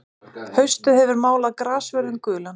Haustið hefur málað grassvörðinn gulan.